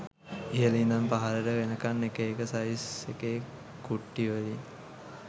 ඉහල ඉඳන් පහලට වෙනකන් එක එක සයිස් එකේ කුට්ටි වලින්